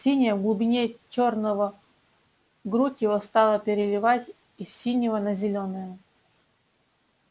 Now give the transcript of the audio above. синяя в глубине чёрного грудь его стала переливать из синего на зелёное